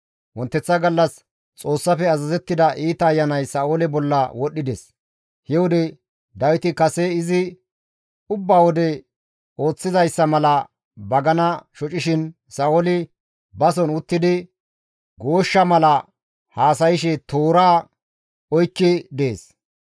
Wonteththa gallas Xoossafe azazettida iita ayanay Sa7oole bolla wodhides; he wode Dawiti kase izi ubba wode ooththizayssa mala bagana shocishin Sa7ooli bason uttidi gooshsha mala haasayshe toora oykki dees.